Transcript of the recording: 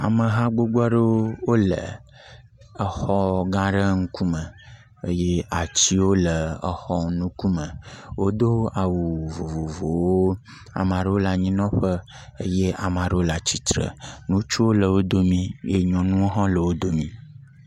Ameha gbogb aɖewo wole exɔ gã aɖe ƒe ŋkume eye atiwo le exɔwo ŋkume. Wodo awu vovovowo , amea ɖewo le anyinɔƒe eye amea ɖewo le atsitre. Ŋutsuwo le wo domee eye nyɔnuwo hã le wo dome.